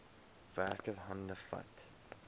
werker hande vat